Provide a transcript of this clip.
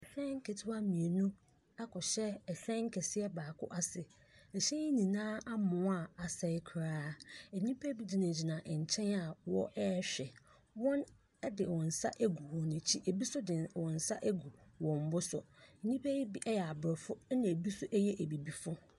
Ɛhyɛn kitiwaa mmienu akɔhyɛ ɛhyɛn kɛseɛ baako ase. Ɛkyɛn nyinaa amoa a asɛe koraa. Nnipa no bi gyinagyina nkyɛn a wɔrehwɛ. Wɔde wɔn sa agu wɔn akyi. Ebi nso de wɔn sa agu wɔn bo so. Nnipa yi bi yɛ abrɔfo ɛna ebi nso yɛ abibifoɔ.